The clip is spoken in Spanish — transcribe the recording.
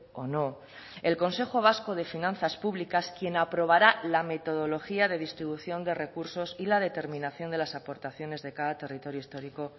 o no el consejo vasco de finanzas públicas quien aprobará la metodología de distribución de recursos y la determinación de las aportaciones de cada territorio histórico